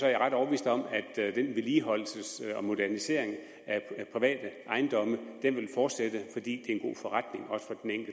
jeg ret overbevist om at den vedligeholdelse og modernisering af private ejendomme vil fortsætte fordi det